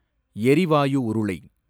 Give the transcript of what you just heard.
எரிவாயு உருளை